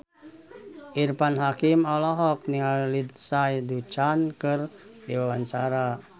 Irfan Hakim olohok ningali Lindsay Ducan keur diwawancara